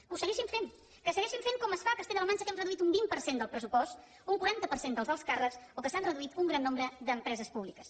que ho segueixin fent que segueixin fent com a castella la manxa que hem reduït un vint per cent del pressupost un quaranta per cent dels alts càrrecs o que s’han reduït un gran nombre d’empreses públiques